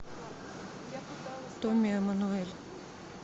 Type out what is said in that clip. томми эммануэль